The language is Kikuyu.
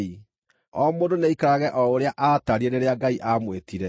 O mũndũ nĩaikarage o ũrĩa aatariĩ rĩrĩa Ngai aamwĩtire.